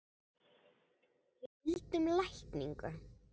Við vildum lækningu.